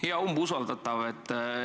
Hea umbusaldatav!